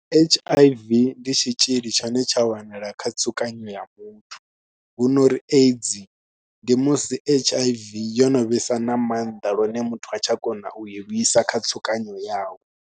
H_I_V ndi tshitzhili tshine tsha wanala kha tsukanyo ya muthu, hu no ri AIDS ndi musi H_I_V yo no vhesa na maanḓa lune muthu ha tsha kona u i lwisa kha tsukanyo yawe.